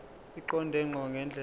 eqonde ngqo ngendlela